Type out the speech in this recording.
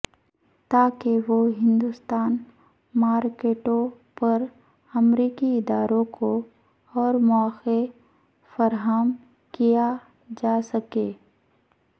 تاکہ وہ ہندوستان مارکٹوں پر امریکی اداروں کو اور موقع فراہم کیاجاسکے